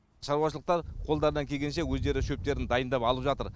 шаруашылықтар қолдарынан келгенше өздері шөптерін дайындап алып жатыр